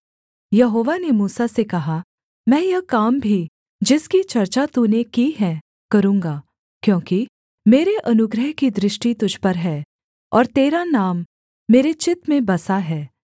यहोवा ने मूसा से कहा मैं यह काम भी जिसकी चर्चा तूने की है करूँगा क्योंकि मेरे अनुग्रह की दृष्टि तुझ पर है और तेरा नाम मेरे चित्त में बसा है